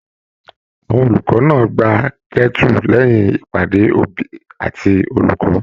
Àwọn olùkọ náà gbà kẹ́tu lẹyìn ìpàdé òbí àti olùkọ́.